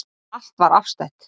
Allt var afstætt.